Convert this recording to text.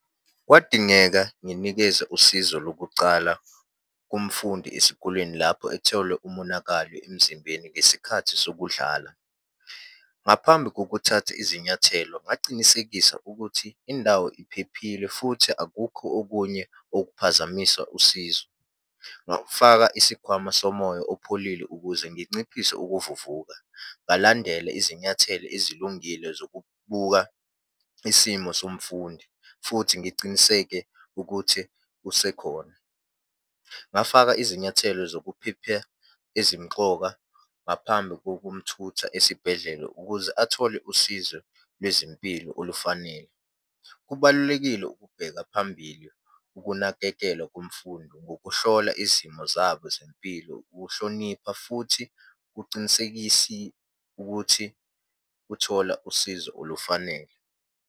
Kwadingeka nginikeze usizo lokucala kumfundi esikolweni lapho etholwe umonakalo emzimbeni ngesikhathi sokudlala. Ngaphambi kokuthatha izinyathelo, ngacinisekisa ukuthi indawo iphephile, futhi akukho okunye okuphazamisa usizo. Ngawufaka isikhwama somoya opholile ukuze nginciphise ukuvuvuka. Ngalandela izinyathelo ezilungile zokubuka isimo somfundi, futhi ngiciniseke ukuthi usekhona. Ngafaka izinyathelo zokuphepha ezimxoka ngaphambi kokumthutha esibhedlela ukuze athole usizo lwezempilo olufanele. Kubalulekile ukubheka phambili ukunakekelwa komfundi ngokuhlola izimo zabo zempilo, ukuhlonipha, futhi kucinisekisi ukuthi uthola usizo olufanele.